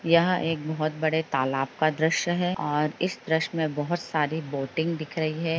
यहा एक बहुत बड़ा तालाब का दृश्य है और दृश्य में बहुत सारी बोटिन्ग दिख रही है।